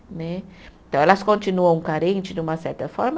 Né. Então, elas continuam carentes de uma certa forma?